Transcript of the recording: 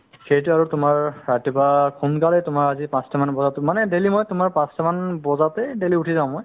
সেইটো আৰু তুমাৰ ৰাতিপোৱা সোনকালে তুমাৰ আজি পাচ্টা মান বজাত মানে daily মই তুমাৰ পাচ্টা মান বজাতে উথি যাও মই